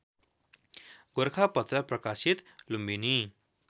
गोरखापत्र प्रकाशित लुम्बिनी